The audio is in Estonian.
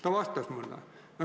Ta vastas mulle.